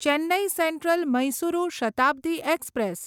Chennai central Mysuru Shatabdi express